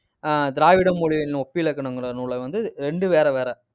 ஆஹ் திராவிட மொழியின் ஒப்பிலக்கணங்கிற நூலை வந்து, ரெண்டும் வேற வேற.